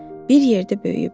Bir yerdə böyüyüblər.